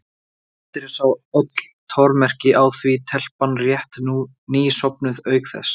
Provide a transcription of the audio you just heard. Andri sá öll tormerki á því, telpan rétt ný sofnuð, auk þess.